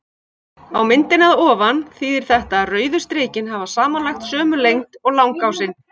Á myndinni að ofan þýðir þetta að rauðu strikin hafi samanlagt sömu lengd og langásinn.